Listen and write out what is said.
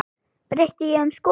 Breytti ég um skoðun?